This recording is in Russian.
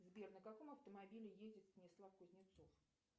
сбер на каком автомобиле ездит станислав кузнецов